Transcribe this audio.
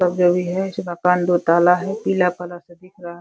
इस मकान दो ताला है। पीला कलर का दिख रहा है।